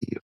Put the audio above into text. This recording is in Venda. ni .